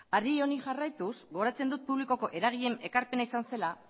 ari honi jarraituz gogoratzen dut publikoko eragileen ekarpena izan zela